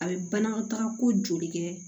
A bɛ banakɔtaga ko joli kɛ